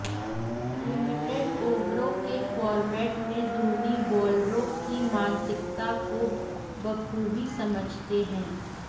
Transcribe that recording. limited ओवरों के format में धोनी बॉलरों की मानसिकता को बखूबी समझते हैं